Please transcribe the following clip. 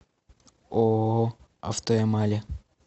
ооо автоэмали